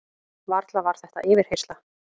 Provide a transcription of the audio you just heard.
Varla var þetta yfirheyrsla?